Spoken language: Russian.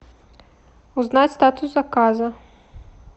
узнать статус заказа